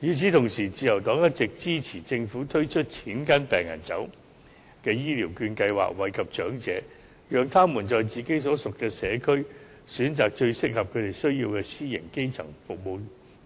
與此同時，自由黨一直支持政府推出"錢跟病人走"的醫療券計劃，惠及長者，讓他們在自己所屬的社區，選擇最適合他們需要的私營基層